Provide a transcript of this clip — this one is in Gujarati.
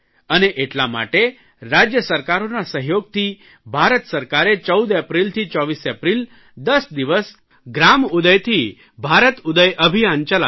અને એટલા માટે રાજય સરકારોના સહયોગથી ભારત સરકારે 14 એપ્રિલથી 24 એપ્રિલ 10 દિવસ ગ્રામોદયથી ભારતોદય અભિયાન ચલાવ્યું